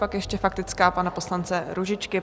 Pak ještě faktická pana poslance Růžičky.